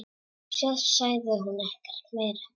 Svo sagði hún ekkert meira.